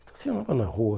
Estacionava na rua.